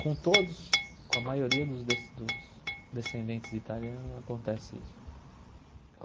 Com todos, com a maioria dos de dos descendentes de italiano, acontece isso.